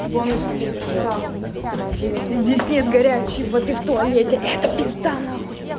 бонус пиздеца здесь нет горячей воды в туалете это пизда нахуй